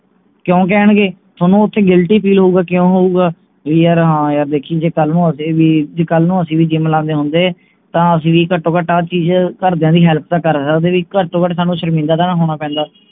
ਕਿਉਂ ਕਹਿਣਗੇ ਥੋਨੂੰ ਓਥੇ guilty feel ਹੋਊਗਾ ਕਿਉਂ ਹੋਊਗਾ ਵੀ ਯਾਰ ਹਾਂ ਯਾਰ ਦੇਖੀਂ ਜੇ ਕੱਲ ਨੂੰ ਅਸੀਂ ਵੀ ਜੇ ਕੱਲ ਨੂੰ ਅਸੀਂ ਵੀ gym ਲਾਂਦੇ ਹੁੰਦੇ ਤਾਂ ਅਸੀਂ ਵੀ ਘਟੋ ਘਟ ਆਹ ਚੀਜ ਘਰ ਦੀਆਂ ਦੀ help ਤਾਂ ਕਰ ਸਕਦੇ ਸੀ ਘਟ ਤੋਂ ਘਟ ਸਾਨੂ ਸ਼ਰਮਿੰਦਾ ਤਾਂ ਨਾ ਹੋਣਾ ਪੈਂਦਾ